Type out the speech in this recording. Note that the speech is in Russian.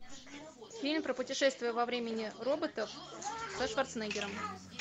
фильм про путешествие во времени роботов со шварценеггером